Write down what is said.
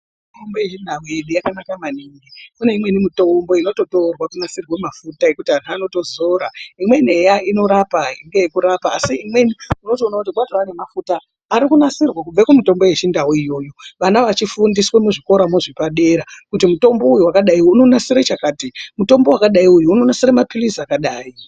Mitombo yechindau yedu yakanaka maningi kune imweni mitombo yedu inototorwa kunasira mafuta ekuti vana vanozora imweni eya inorapa asi imweni unotoona kuti eya kwane mafuta arikunasirwa Kubva kumitombo yechindau iyoyo vana vachifundiswa kubva kuchikora zvepadera kuti mutombo uyu wakati inonasira chakati mutombo wakadai inonasira mapirizi akadai.